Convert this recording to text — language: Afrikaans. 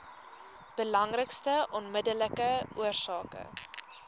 belangrikste onmiddellike oorsake